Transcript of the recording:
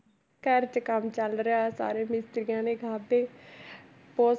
ਘਰ 'ਚ ਕੰਮ ਚੱਲ ਰਿਹਾ ਸਾਰੇ ਮਿਸਤਰੀਆਂ ਨੇ ਖਾਧੇ ਬਹੁਤ